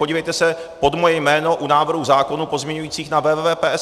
Podívejte se pod moje jméno u návrhů zákonů pozměňujících na www.psp.cz.